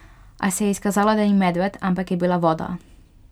A se je izkazalo, da ni medved, ampak je bila voda.